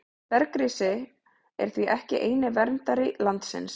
Bergrisinn er því ekki eini verndari landsins.